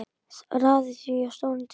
Raðið því á stóran disk.